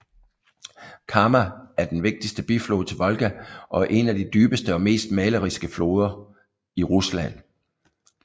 Kama er den vigtigste biflod til Volga og en af de dybeste og mest maleriske floder i Rusland